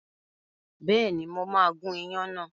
Bẹ́ẹ̀ni, mo máa gun ìyàn náà.